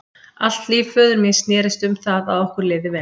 Allt líf föður míns snerist um það að okkur liði vel.